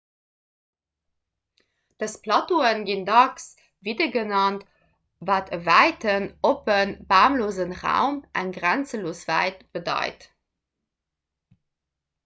dës plateaue ginn dacks vidde genannt wat e wäiten oppe bamlose raum eng grenzelos wäit bedeit